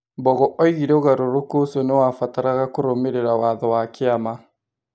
Mbogo oigire ũgarũrũku ũcio nĩ wabataraga kũrũmĩrĩra watho wa kĩama.